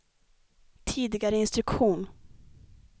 tidigare instruktion